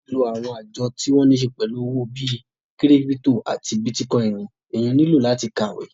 Láti lo àwọn àjọ tí wọ́n níse pẹ̀lú owó bí kírípítò àti bítíkọìnì, èèyàn nílò láti kàwé